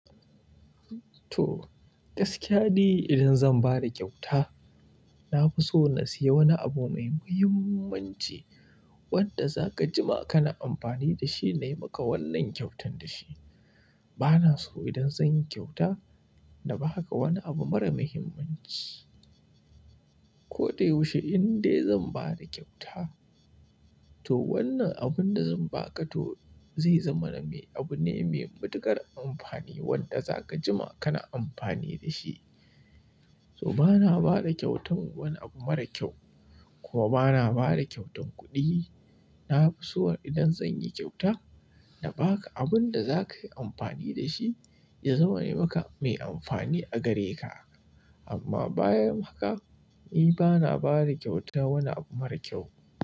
To, gaskiya ni idan zan bada ƙyauta, nafi so na siya wani abu mai muhimmanci wanda zaka jima kana amfani dashi nayi maka wannan kyautar dashi. Bana so idan zan yi ƙyauta na baka wani abu mara muhimmanci. Koda yaushe in dai zan bada ƙyauta, to wannan abun da zan baka to zai zamana me abu ne mai matuƙar amfani wanda zaka jima kana amfani dashi. To bana bada ƙyautan wani abu mara ƙyau, kuwa bana bada ƙyautan kuɗi. Nafi so idan zanyi ƙyauta na baka abunda za kayi amfani da shi, ya zama ne maka mai amfani a gare ka. Amma bayan haka, ni bana ba da kyauta wani abu mara kyau.